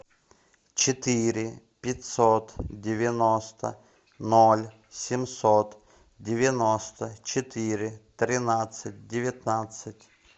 четыре пятьсот девяносто ноль семьсот девяносто четыре тринадцать девятнадцать